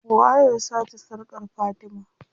Waye ya sace sarkar fatima?